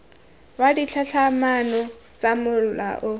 wa ditlhatlhamano tsa mola o